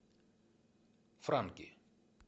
франки